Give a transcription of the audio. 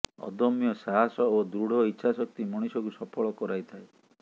ଅଦମ୍ୟ ସାହସ ଓ ଦୃଢ ଇଚ୍ଛାଶକ୍ତି ମଣିଷକୁ ସଫଳ କରାଇଥାଏ